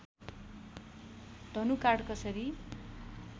धनुकाँड कसरी